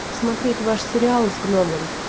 смотреть ваш сериал с гномом